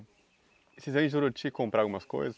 E vocês aí, em Juruti, compravam umas coisas?